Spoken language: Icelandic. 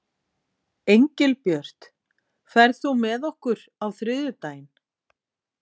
Engilbjört, ferð þú með okkur á þriðjudaginn?